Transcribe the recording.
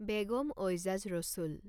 Begum Aijaz Rasul